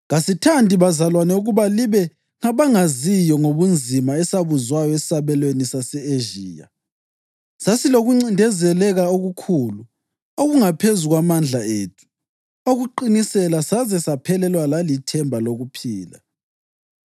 Kasithandi, bazalwane, ukuba libe ngabangaziyo ngobunzima esabuzwayo esabelweni sase-Ezhiya. Sasilokuncindezeleka okukhulu, okungaphezu kwamandla ethu okuqinisela, saze saphelelwa lalithemba lokuphila.